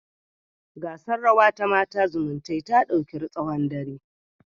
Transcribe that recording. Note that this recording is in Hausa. Gasar rawa ta Mata zumuntae ta dauki tsawon dare